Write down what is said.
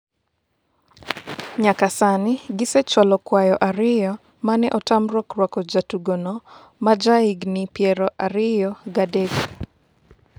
nyaka sani gisechwalo kwayo ariyo mane otamruok rwako jatugono ma e ja higni piero ariyo gi adek